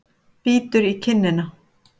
Bítur í kinnina.